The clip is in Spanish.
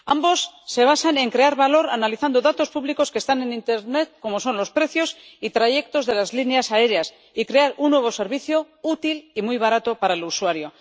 Ambos se basan en crear valor analizando datos públicos que están en internet, como son los precios y trayectos de las líneas aéreas, y crear un nuevo servicio útil y muy barato para el usuario.